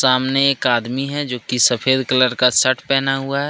सामने एक आदमी है जो की सफेद कलर का शर्ट पहना हुआ है।